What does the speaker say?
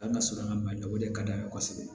An ka surun an ka maɲi o de ka d'an ye kosɛbɛ